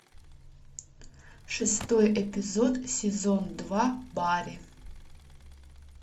шестой эпизод сезон два барри